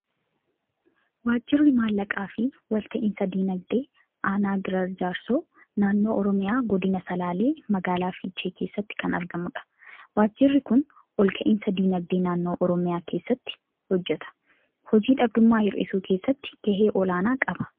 Waajjirri Maallaqaa fi Walta'iinsi Dinagdee Aanaa Giraar Jaarsoo naannoo Oromiyaa Godina Salaalee, magaalaa Fiichee keessatti kan argamudha. Waajjirri kun ol ka'iinsa dinagdee naannoo Oromiyaa keessatti hojjeta. Hojii dhabdummaa hir'isuu keessatti gahee olaanaa qaba.